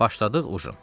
Başladıq ujinə.